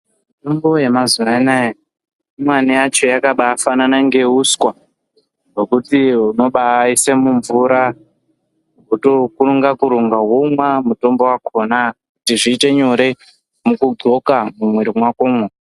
Mitombo yamazuva anaya imweni yacho yakaba fanana ngeuswa. Hwekuti hunobaise mumvura votokurunga-kurunga vonwa mutombo vakona. Kuti zvite nyore mukundxoka mumwiri makomo.